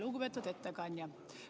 Lugupeetud ettekandja!